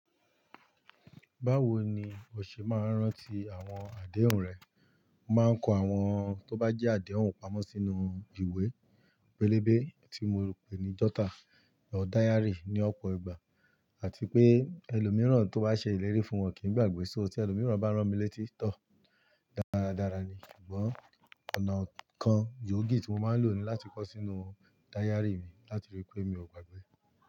Báwo ni o ṣe máa ń rántí àwọn àdéhùn rẹ? Mo máa ń kọ àwọn tó bá jẹ́ àdéhùn pamọ́ sínú ìwé pélébé tí mo ń pè ní jotter or diary ní ọ̀pọ̀ ìgbà àti pé ẹlòmíràn tó bá ṣe ìlérí fún wọn kì í gbàgbé sọ́rí. Ẹlòmíràn bá ràn mí létí tó dáradára ni. Ṣùgbọ́n ọ̀nà kan, gboogi tí mo máa ń lò ni láti kọ sọ́ inú diary mi láti rí pé mi ò gbàgbé.